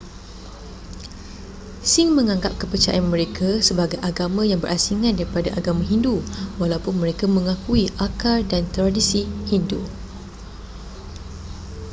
sikh menganggap kepercayaan mereka sebagai agama yang berasingan daripada agama hindu walaupun mereka mengakui akar dan tradisi hindu